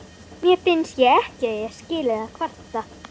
Mér finnst ég ekki eiga skilið að kvarta.